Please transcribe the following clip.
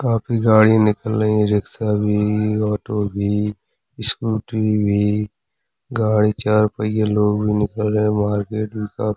काफी गाडी निकल रही हैं रिक्शा भी ऑटो भी स्कूटी भी गाड़ी चार पहिये लोग भी निकल रहे हैं मार्केट में का --